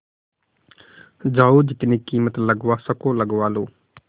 जाओ जितनी कीमत लगवा सको लगवा लो